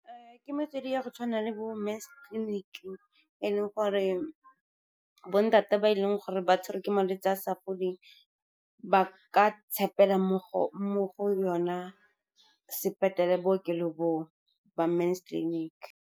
Ke metswedi ya go tshwana le bo Men's Clinic, e e leng gore bo ntate ba e leng gore ba tshwarwe ke malwetse a sa foleng ba ka tshepela mo go yona bookelo bo o ba Men's Clinic.